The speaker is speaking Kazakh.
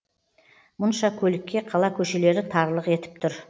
мұнша көлікке қала көшелері тарлық етіп тұр